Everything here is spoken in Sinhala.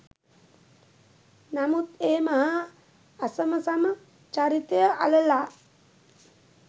නමුත් ඒ මහා අසමසම චරිතය අලලා